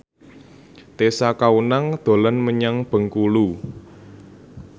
Tessa Kaunang dolan menyang Bengkulu